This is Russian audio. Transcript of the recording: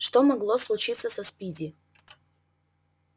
что могло случиться со спиди